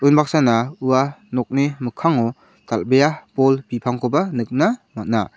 unbaksana ua nokni mikkango dal·bea bol bipangkoba nikna man·a.